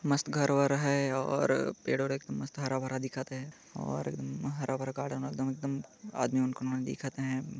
मस्त घर-वर है और पेड़ वेड एकदम मस्त हराभरा दिखत हे और बाहर एकदम हराभरा गार्डन एकदम एकदम आदमी उन कोन दिखत हे।